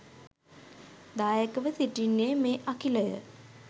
දායකව සිටින්නේ මේ අඛිලය